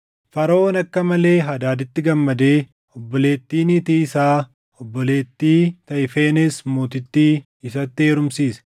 Faraʼoon akka malee Hadaaditti gammadee obboleettii niitii isaa, obboleettii Tahifenees Mootittii isatti heerumsiise.